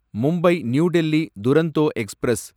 Mumbai New Delhi Duronto express